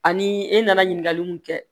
Ani e nana ɲininkali mun kɛ